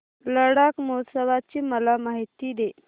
लडाख महोत्सवाची मला माहिती दे